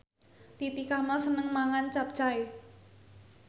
Titi Kamal seneng mangan capcay